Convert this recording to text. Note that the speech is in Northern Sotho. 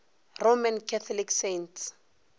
roman catholic saints